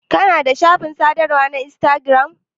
Kana da shafin sadarwa na instagiram?